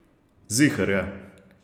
Ziher je.